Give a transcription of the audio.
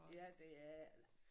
Ja det er det